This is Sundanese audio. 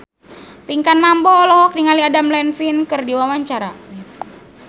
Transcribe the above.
Pinkan Mambo olohok ningali Adam Levine keur diwawancara